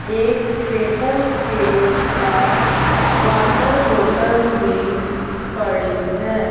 एक टेबल के पास वॉटर बॉटल भी पड़ी है।